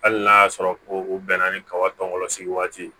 Hali n'a y'a sɔrɔ ko u bɛnna ni kaba tɔw sigi waati ye